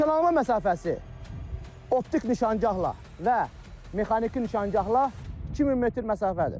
Nişanalma məsafəsi optik nişangahla və mexaniki nişangahla 2000 metr məsafədir.